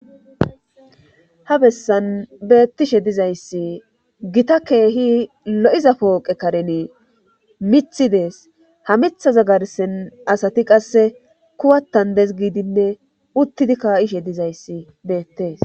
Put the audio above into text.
Ha bessan beettishe dizayssi gita keehi lo'iza pooqe kareni miiththi dees. ha mithaza garssen asati qasse kuwattan des gidinne uttidi kaa'ishe dizayssi beettees.